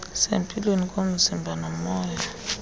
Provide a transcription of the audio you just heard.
sempilweni komzimba nomoya